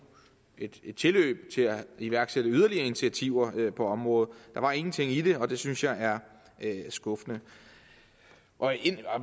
tilløb til at iværksætte yderligere initiativer på området der var ingenting i det og det synes jeg er skuffende